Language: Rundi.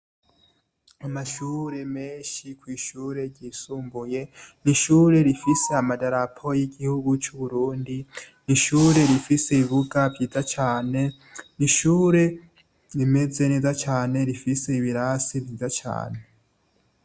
Amashure menshi kw'ishure ryisumbuye. Ni ishure rifise amadarapo y'igihugu c'Uburundi, ni ishure rifise ibibuga vyiza cane, ni ishure rimeze neza cane, rifise ibirasi vyiza cane.